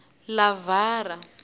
livhara